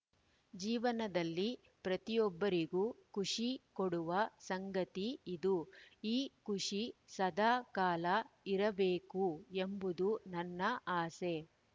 ಜೀವನದಲ್ಲಿ ಪ್ರತಿಯೊಬ್ಬರಿಗೂ ಖುಷಿ ಕೊಡುವ ಸಂಗತಿ ಇದು ಈ ಖುಷಿ ಸದಾ ಕಾಲ ಇರಬೇಕು ಎಂಬುದು ನನ್ನ ಆಸೆ